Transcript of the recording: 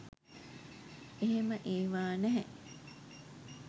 එහෙම ඒවා නැහැ